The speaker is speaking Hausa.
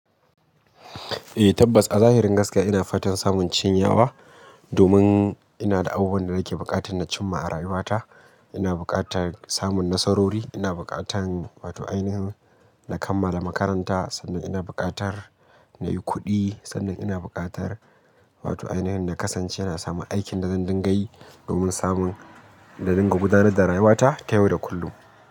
Eh tabbas a zahirin gaskiya ina fatan samun cinyawa domin ina da abubuwan da nake buƙata na cimma a rayuwata. Ina buƙatar samun nasarori, ina buƙatar wato ainihin na kammala makaranta sannan ina buƙatar na yi kuɗi sannan ina buƙatar wato ainihin na kasance na samun aikin da zan dinga yi domin samun na dinga gudanar da rayuwata ta yau da kullum.